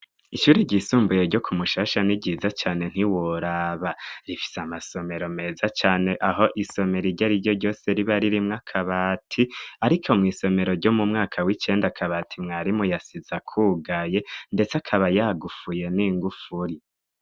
Ishuri ryisumbuye ryo ku Mushasha ni ryiza cane ntiworaba, rifise amasomero meza cane, aho isomero iryo ariryo ryose riba ririmwo akabati, ariko mw'isomero ryo mu mwaka w'icenda, akabati mwarimu yasize akugaye, ndetse akaba yagufuye n'ingufuri.